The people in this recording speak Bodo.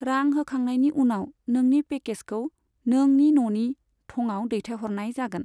रां होखांनायनि उनाव, नोंनि पेकेजखौ नोंनि न'नि थङाव दैथायहरनाय जागोन।